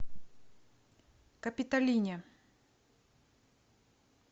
капиталине